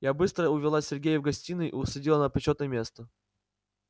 я быстро увела сергея в гостиную и усадила на почётное место